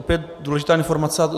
Opět důležitá informace.